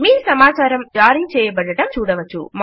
మీ సమాచారం జారీ చేయబడడం చూడవచ్చు